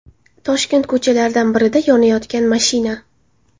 Toshkent ko‘chalaridan birida yonayotgan mashina.